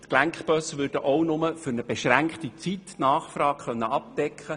Die Gelenkbusse könnten die Nachfrage nur während einer bestimmten Zeit abdecken.